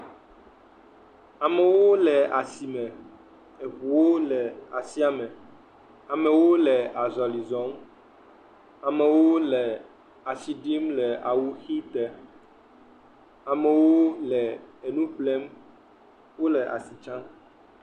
Amewo le asime. Eŋuwo le asia me. Amewo le azɔli zɔm. Amewo le asi ɖim le awuʋide. Amewo le enu ƒlem. Wole asi tsam.